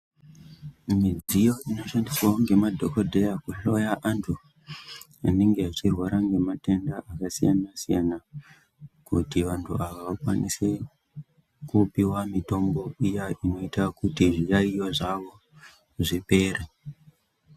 Midziyo ino shandiswawo nge madhokodheya ku hloya antu anenge achirwara nge matenda aka siyana siyana kuti vantu ava vakwanise kupiwa mitombo iya inoita kuti zvi yayiyo zvawo zvipere.